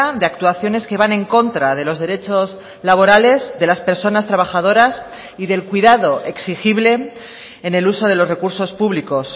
de actuaciones que van en contra de los derechos laborales de las personas trabajadoras y del cuidado exigible en el uso de los recursos públicos